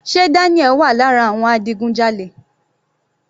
Sé Daniel wà lára àwọn adigunjalè?